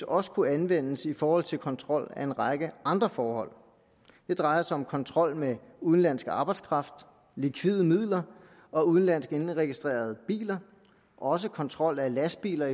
også kunne anvendes i forhold til kontrol af en række andre forhold det drejer sig om kontrol med udenlandsk arbejdskraft likvide midler og udenlandsk indregistrerede biler også kontrol af lastbiler